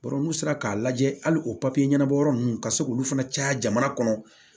n'u sera k'a lajɛ hali o ɲɛnabɔ yɔrɔ ninnu ka se k'olu fana caya jamana kɔnɔ